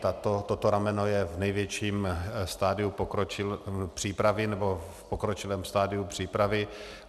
Toto rameno je v největším stadiu přípravy, nebo v pokročilém stadiu přípravy.